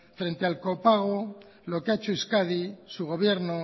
frente al copago lo que ha hecho euskadi su gobierno